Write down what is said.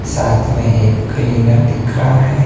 साथ में एक क्लीनर दिख रहा है।